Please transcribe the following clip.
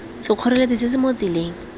sekgoreletsi se se mo tseleng